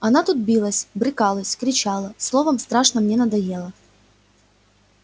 она тут билась брыкалась кричала словом страшно мне надоела